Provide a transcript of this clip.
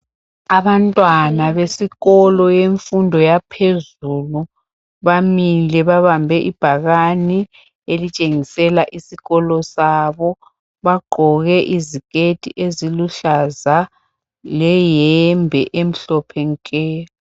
Abantwana besikolo yemfundo yaphezulu, bamile babambe ibhakane elitshengisela isikolo sabo. Bagqoke iziketi eziluhlaza leyembe emhlophe nke.